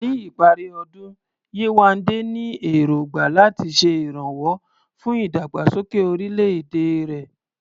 Ní ìparí ọdún, Yewande ní èrògbà láti ṣe ìrànwọ́ fún ìdàgbàsókè orílẹ̀-èdè rẹ̀.